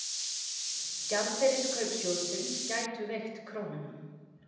Gjaldeyriskaup sjóðsins gætu veikt krónuna